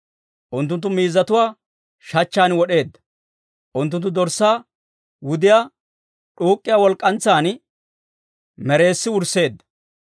Unttunttu miizzatuwaa shachchan wod'eedda; unttunttu dorssaa wudiyaa, d'uuk'k'iyaa walk'k'antsan mereessi wursseedda.